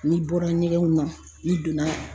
N'i bɔra ɲɛgɛnw n'i donna